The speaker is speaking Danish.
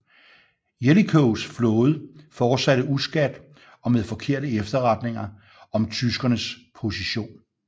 Jellicoes flåde fortsatte uskadt og med forkerte efterretninger om tyskernes position